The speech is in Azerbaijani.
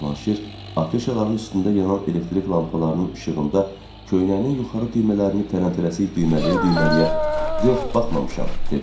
Cavanşir afişaların üstündə yanan elektrik lampalarının işığında köynəyinin yuxarı düymələrini tələmtələsik düymələyə-düymələyə "Yox, baxmamışam," dedi.